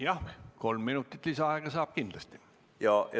Jah, saate kindlasti kolm minutit lisaaega.